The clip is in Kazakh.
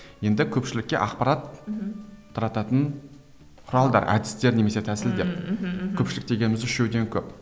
енді көпшілікке ақпарат мхм тарататын құралдар әдістер немесе тәсілдер мхм мхм көпшілік дегеніміз үшеуден көп